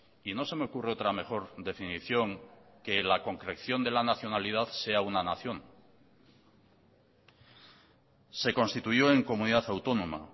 y no se me ocurre otra mejor definición que la concreción de la nacionalidad sea una nación se constituyó en comunidad autónoma